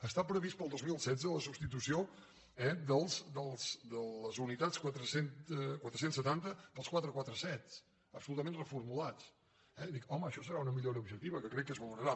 està prevista per al dos mil setze la substitució eh de les unitats quatre cents i setanta pels quatre cents i quaranta set absolutament reformulats i dic home això serà una millora objectiva que crec que es valorarà